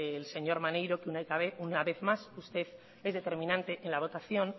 el señor maneiro que una vez más usted es determinante en la votación